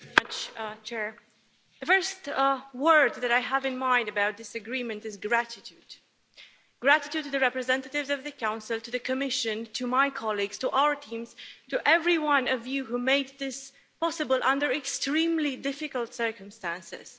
Mr President, the first word that I have in mind about this agreement is gratitude gratitude to the representatives of the Council, to the Commission, to my colleagues, to our teams, to every one of you who made this possible under extremely difficult circumstances.